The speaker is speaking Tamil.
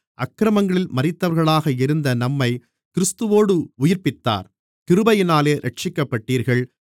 அக்கிரமங்களில் மரித்தவர்களாக இருந்த நம்மைக் கிறிஸ்துவோடு உயிர்ப்பித்தார் கிருபையினாலே இரட்சிக்கப்பட்டீர்கள்